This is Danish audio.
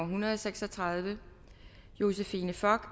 hundrede og seks og tredive josephine fock og